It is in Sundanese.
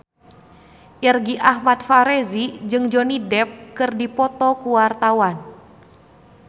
Irgi Ahmad Fahrezi jeung Johnny Depp keur dipoto ku wartawan